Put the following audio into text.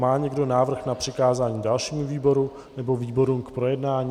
Má někdo návrh na přikázání dalšímu výboru, nebo výborům k projednání?